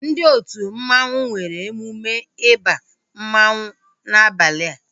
Ndị otu mmanwu nwere emume ịba mmanwu n'abalia